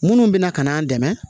Minnu bɛna ka n'an dɛmɛ